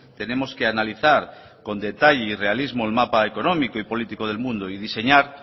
tenemos que analizar con detalle y realismo el mapa económico y político del mundo y diseñar